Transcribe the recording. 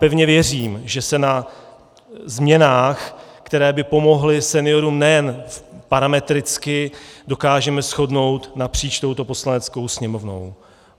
Pevně věřím, že se na změnách, které by pomohly seniorům nejen parametricky, dokážeme shodnout napříč touto Poslaneckou sněmovnou.